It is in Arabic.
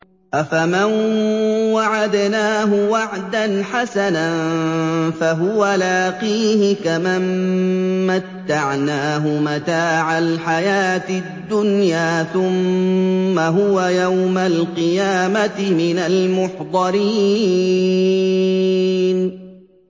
أَفَمَن وَعَدْنَاهُ وَعْدًا حَسَنًا فَهُوَ لَاقِيهِ كَمَن مَّتَّعْنَاهُ مَتَاعَ الْحَيَاةِ الدُّنْيَا ثُمَّ هُوَ يَوْمَ الْقِيَامَةِ مِنَ الْمُحْضَرِينَ